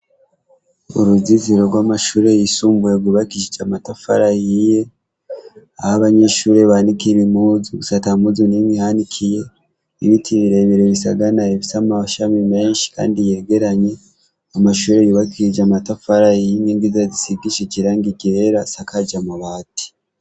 Uruzitiro rw'amashuri yisumbuye rwubakishije amatafari ahiye ahabanyeshuri banikira impuzu gusa atampuzu nimwe ihanikiye ibiti birebire bisaganaye bifise amashami meshi kandi yegeranye amashuri yubakishije amatafari ahiye inkingi zayo zisigishije irangi ryera isakaje amabati.